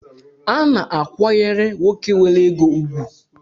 A na-akwayere nwoke nwere ego ụgwụ